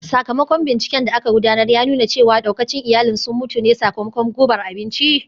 Sakamakon binciken da aka gudanar ya nuna cewa daukacin iyalin sun mutu ne sakamakon gubar abinci